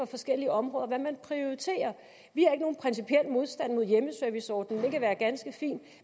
forskellige områder kan man prioriterer vi har ikke nogen principiel modstand mod hjemmeserviceordningen det kan være en ganske fin